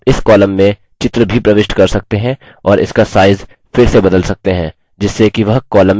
आप इस column में picture भी प्रविष्ट कर सकते हैं और उसका साइज फिर से बदल सकते हैं जिससे कि वह column में सही बैठ जाए